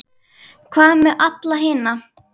Hvað með alla hina?